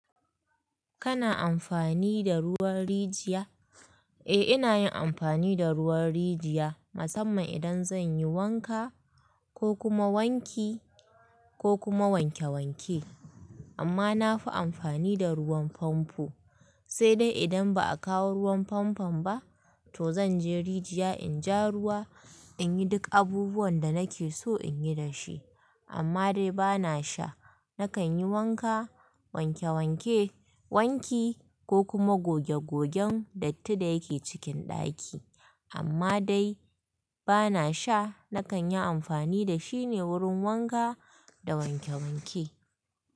Kana amfani da ruwan rijiya? Eh, ina yin amfani da ruwan rijiya musamman idan zan yi wanka ko kuma wanki ko kuma wanke wanke. Amma na fi amfani da ruwan famfo. Sai dai idan ba a kawo ruwan famfon ba to zan je rijiya in ja ruwa in yi duk abubuwan da nake so in yi da shi. Amma dai ba na sha. Nakan yi wanka, wanke wanke, wanki ko kuma goge gogen datti da yake cikin ɗaki. Amma dai ba na sha. Nakan yi amfani da shi ne wurin wanka da wanke wanke.